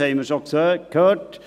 Dies haben wir schon gehört.